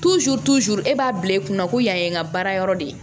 e b'a bila i kunna ko yan ye n ka baara yɔrɔ de ye